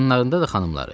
Yanlarında da xanımları.